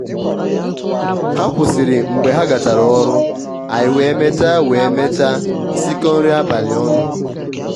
ha kwụsịrị mgbe ha gachara ọrụ anyị wee mechaa wee mechaa sikọọ nri abalị ọnụ